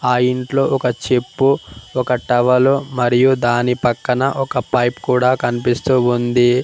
ఆ ఇంట్లో ఒక చెప్పు ఒక టవలు మరియు దాని పక్కన ఒక పైప్ కూడా కనిపిస్తూ ఉంది.